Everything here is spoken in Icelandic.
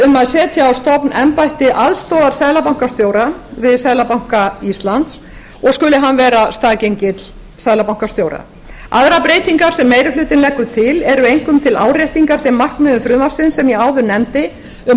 um að setja á stofn embætti aðstoðarseðlabankastjóra við seðlabanka íslands og skuli hann vera staðgengill seðlabankastjóra aðrar breytingar sem meiri hlutinn leggur til eru einkum til áréttingar þeim markmiðum frumvarpsins sem ég áður nefndi um